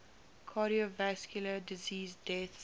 cardiovascular disease deaths